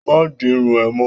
Ma di irun é mọ.